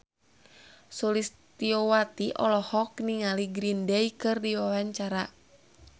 Sulistyowati olohok ningali Green Day keur diwawancara